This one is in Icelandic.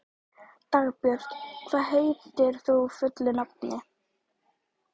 Dagbjört, hvað heitir þú fullu nafni?